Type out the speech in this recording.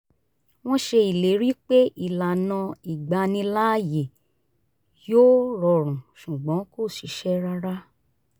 wọ́n ṣe ìlérí pé ìlànà ìgbaniláàyè yóò rọrùn ṣùgbọ́n kò ṣiṣẹ́ rárá